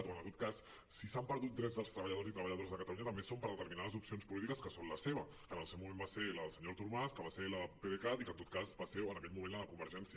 o en tot cas si s’han perdut drets dels treballadores i treballadores de catalunya també és per determinades opcions polítiques que són la seva que en el seu moment va ser la del senyor artur mas que va ser la del pdecat i que en tot cas va ser en aquell moment la de convergència